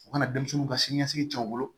U kana denmisɛnninw ka siniɲɛsigi can u bolo